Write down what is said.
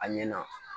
A ɲɛna